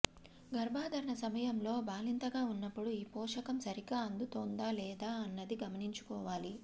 గర్భధారణ సమయంలో బాలింతగా ఉన్నప్పుడూ ఈ పోషకం సరిగ్గా అందుతోందా లేదా అన్నది గమనించుకోవాలి